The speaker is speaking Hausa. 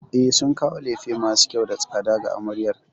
E, sun kawo lefe masu kyau da tsada ga amaryar.